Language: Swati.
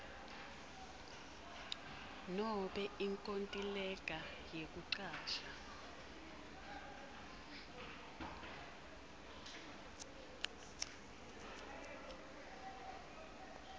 nobe inkontileka yekucasha